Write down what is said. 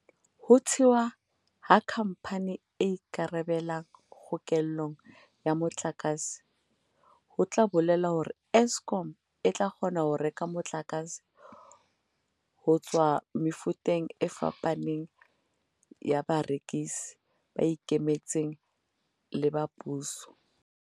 Ho thewa ha khampani e ikarabelang kgokellong ya motlakase ho tla bolela hore Eskom e tla kgona ho reka motlakase ho tswa mefuteng e fapafapaneng ya barekisi, ba ikemetseng le ba puso.